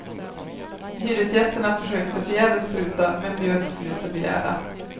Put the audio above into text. Hyresgästerna försökte förgäves pruta, men bjöd till slut det begärda.